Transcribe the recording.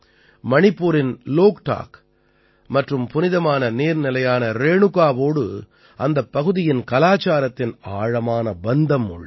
மணிப்பூரின் லோக்டாக் மற்றும் புனிதமான நீர்நிலையான ரேணுகாவோடு அந்தப் பகுதியின் கலாச்ச்சாரத்தின் ஆழமான பந்தம் உள்ளது